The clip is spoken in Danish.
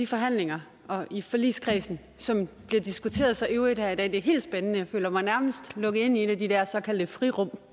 forhandlingerne i forligskredsen som bliver diskuteret så ivrigt her i dag det er helt spændende jeg føler mig nærmest lukket ind i en af de der såkaldte frirum